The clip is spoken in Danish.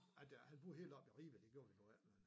At han boede helt oppe i Ribe det gjorde vi nu ikke